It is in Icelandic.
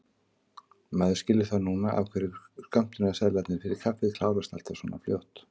Maður skilur það núna af hverju skömmtunarseðlarnir fyrir kaffið klárast alltaf svona fljótt!